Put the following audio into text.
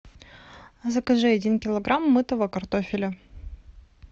закажи один килограмм мытого картофеля